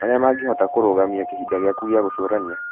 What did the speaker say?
marĩa mangĩhota kũrũgamia kĩhinda gĩaku gĩa gũcũrania.